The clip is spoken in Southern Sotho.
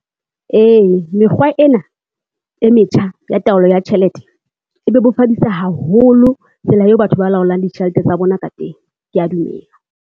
Ee mekgwa ena e metjha ya taolo ya tjhelete, e bebofaditse haholo tsela eo batho ba laolang ditjhelete tsa bona ka teng, kea dumela.